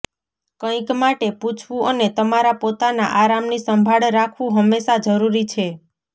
કંઈક માટે પૂછવું અને તમારા પોતાના આરામની સંભાળ રાખવું હંમેશાં જરૂરી છે